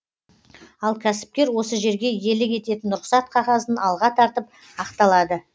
ал кәсіпкер осы жерге иелік ететін рұқсат қағазын алға тартып ақталады